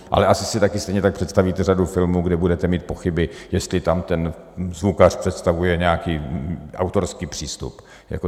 Ale asi si taky stejně tak představíte řadu filmů, kde budete mít pochyby, jestli tam ten zvukař představuje nějaký autorský přístup.